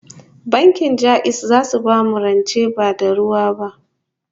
Bankin Ja'iz zasu bamu rance ba da ruwa ba